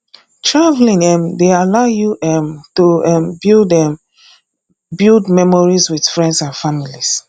traveling um dey allow you um to um build um build memories with friends and family